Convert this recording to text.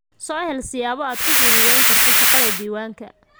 Soo hel siyaabo aad ku fududayn karto shaqada diiwaanka.